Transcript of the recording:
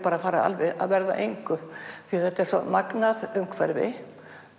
bara alveg að verða að engu því þetta er svo magnað umhverfi